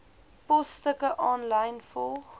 posstukke aanlyn volg